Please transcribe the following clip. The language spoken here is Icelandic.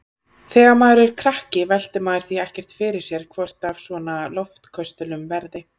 Þegar maður er krakki veltir maður því ekkert fyrir sér hvort af svona loftköstulum verði.